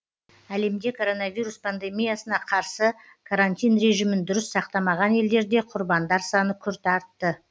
әлемде коронавирус пандемиясына қарсы карантин режимін дұрыс сақтамаған елдерде құрбандар саны күрт артты